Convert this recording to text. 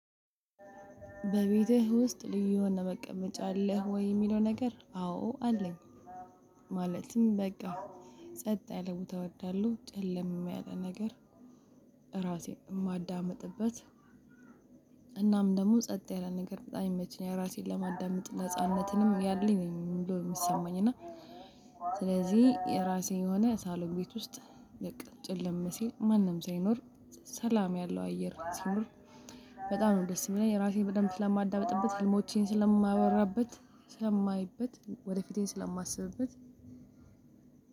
በቤጥ ውስጥ ልዩ መቀመጫ አለህ ወይ የሚለው ነገር አዎ አለኝ። ማለትም በቃ ጸጥ ያለ ቦታ ወዳለው ጨለም ያለ ነገር ራሴን የማዳምጥበት እናም ደግሞ ጸጥ ያለ ነገር በጣም ይመቸኛል ያ ራሴን ለማዳመጥ ነጻነትንም ያለኝ ነው የሚሰማኝ እና ስለዚህ የራሴ የሆነ ሳሎን ቤት ውስጥ በቃ ጨለም ማንም ሳይኖር ሰላም ያለው አየር ሲኖር በጣም ነው ደስ የሚለኝ። የራሴን በደንብ ስለማዳበጥበት ህልሞቼን ስለማወራበት ሰማይበት ወደፊቴን ስለማስብበት